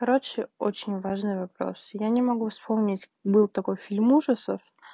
короче очень важный вопрос я не могу вспомнить был такой фильм ужасов